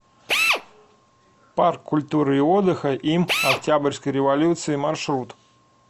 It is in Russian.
парк культуры и отдыха им октябрьской революции маршрут